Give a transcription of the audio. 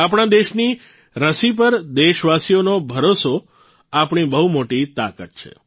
આપણા દેશની રસી પર દેશવાસીઓનો ભરોસો આપણી બહુ મોટી તાકાત છે